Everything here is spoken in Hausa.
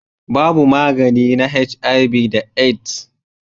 Babu magani na HIV da AIDS.